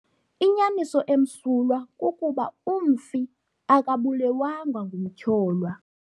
Inyaniso emsulwa kukuba umfi akabulewanga ngumtyholwa.